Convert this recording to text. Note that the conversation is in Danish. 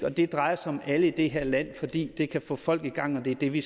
og det drejer sig om alle i det her land fordi det kan få folk i gang og det er det vi